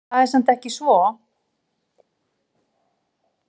Það er samt ekki svo.